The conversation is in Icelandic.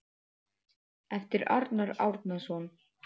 eftir Arnar Árnason